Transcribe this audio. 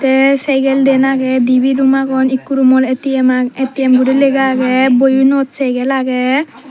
te segel den agey dibe room agon ikko room mod atm aa atm guri lega agey boyuvnot segel agey.